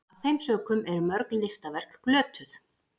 af þeim sökum eru mörg listaverk glötuð